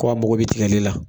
Ko a mɔgɔ bi tigɛli la